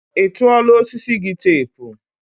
ị tụọla osisi gị teepu?